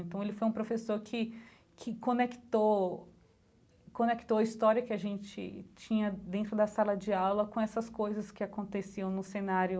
Então ele foi um professor que que conectou conectou a história que a gente tinha dentro da sala de aula com essas coisas que aconteciam no cenário